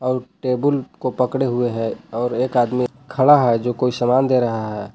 और टेबुल को पकड़े हुए हैं और एक आदमी खड़ा है जो कोई सामान दे रहा है।